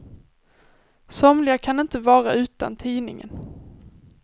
Somliga kan inte vara utan tidningen.